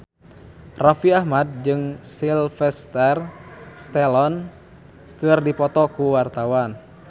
Raffi Ahmad jeung Sylvester Stallone keur dipoto ku wartawan